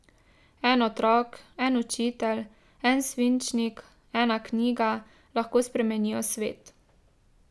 En otrok, en učitelj, en svinčnik, ena knjiga lahko spremenijo svet.